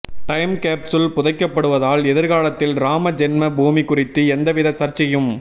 time capsule புதைக்கப்படுவதால் எதிர்காலத்தில் ராம ஜென்ம பூமி குறித்து எந்தவித சர்ச்சையும்